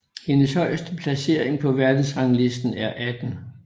Hendes højeste placering på verdensrangslisten er 18